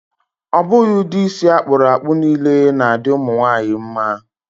Ọ bụghị ụdị isi akpụrụ akpụ niile na-adị ụmụ nwaanyị mma.